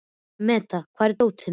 Metta, hvar er dótið mitt?